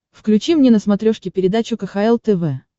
включи мне на смотрешке передачу кхл тв